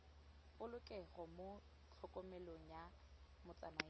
polokego mo tlhokomelong ya motsamaisi